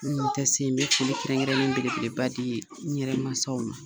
Minnu be taa se ye, n be foli kɛrɛn-kɛrɛnlen belebeleba dii n yɛrɛ masaw ma.